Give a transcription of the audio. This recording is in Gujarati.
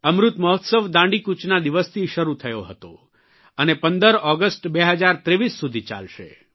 અમૃત મહોત્સવ દાંડીકૂચના દિવસથી શરૂ થયો હતો અને 15 ઓગસ્ટ 2023 સુધી ચાલશે